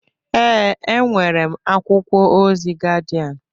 Ee, enwere m akwụkwọ ozi Gaịdịan